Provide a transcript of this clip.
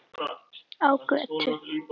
Á götu.